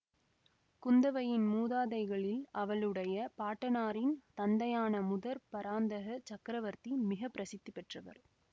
குந்தவையின் மூதாதைகளில் அவளுடைய பாட்டனாரின் தந்தையான முதற் பராந்தக சக்கரவர்த்தி மிக பிரசித்தி பெற்றவர்